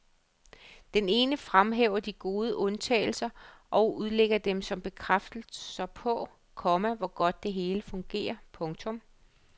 Den ene fremhæver de gode undtagelser og udlægger dem som bekræftelser på, komma hvor godt det hele fungerer. punktum